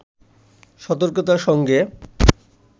সতর্কতার সঙ্গে